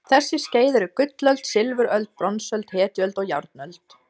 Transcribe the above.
Þessi skeið eru gullöld, silfuröld, bronsöld, hetjuöld og járnöld.